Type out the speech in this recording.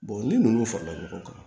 ni ninnu farala ɲɔgɔn kan